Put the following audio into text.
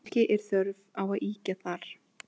Ekki er þörf á að ýkja þar.